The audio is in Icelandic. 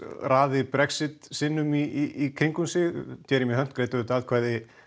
raði Brexit sinnum í kringum sig greiddi auðvitað atkvæði